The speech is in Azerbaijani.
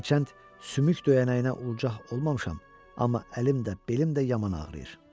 Hərçənd sümük döyənəyinə ulçaq olmamışam, amma əlim də, belim də yaman ağrıyır.